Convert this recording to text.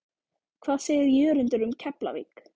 Hvað segir Jörundur um Keflavík?